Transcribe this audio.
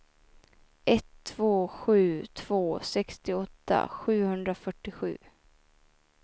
ett två sju två sextioåtta sjuhundrafyrtiosju